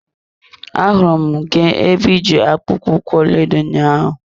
Ahụrụ m gị ebe iji akpụkpọ ụkwụ ọlaedo ụnyaahụ.